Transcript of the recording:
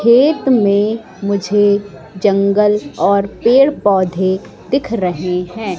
खेत में मुझे जंगल और पेड़ पौधे दिख रहे हैं।